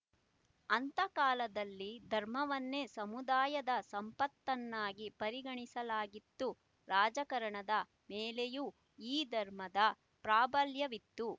ಅಂತಹ ಕಾಲದಲ್ಲಿ ಧರ್ಮವನ್ನೇ ಸಮುದಾಯದ ಸಂಪತ್ತನ್ನಾಗಿ ಪರಿಗಣಿಸಲಾಗಿತ್ತು ರಾಜಕಾರಣದ ಮೇಲೆಯೂ ಈ ಧರ್ಮದ ಪ್ರಾಬಲ್ಯವಿತ್ತು